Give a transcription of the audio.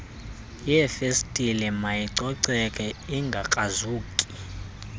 yeefestile mayicoceke ingakrazuki